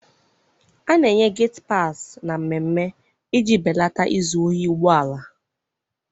A na-enye geti paasị na mmemme iji belata izu ohi ụgbọala.